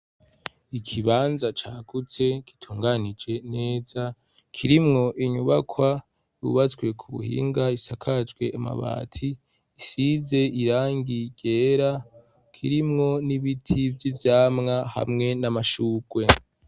Ikibanza cagutse, gitunganije neza, kirimwo inyubakwa yubatswe ku buhinga, isakajwe amabati, isize irangi ryera, kirimwo n'ibiti vy'ivyamwa hamwe n'amashurwe.